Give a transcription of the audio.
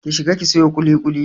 Ki shiga ki sayo ƙuliƙuli!